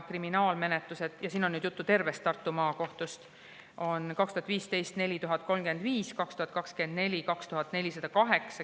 Kriminaalmenetlusi – siin on nüüd juttu tervest Tartu Maakohtust – oli 2015. aastal 4035, 2024. aastal 2408.